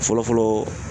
Fɔlɔfɔlɔ